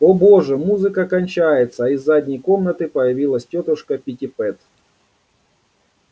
о боже музыка кончается а из задней комнаты появилась тётушка питтипэт